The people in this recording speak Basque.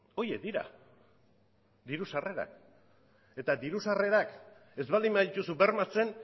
horiek dira diru sarrerak eta diru sarrerak ez baldin badituzu bermatzen